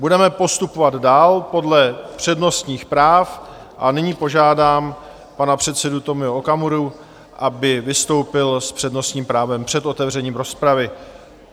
Budeme postupovat dál podle přednostních práv a nyní požádám pana předsedu Tomio Okamuru, aby vystoupil s přednostním právem před otevřením rozpravy.